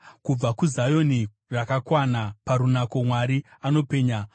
Kubva kuZioni, rakakwana parunako, Mwari anopenya.